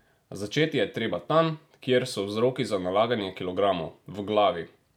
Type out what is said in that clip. Začeti je treba tam, kjer so vzroki za nalaganje kilogramov, v glavi!